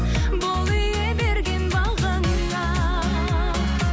бол ие берген бағыңа